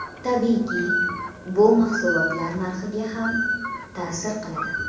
Tabiiyki, bu mahsulotlar narxiga ham ta’sir qiladi.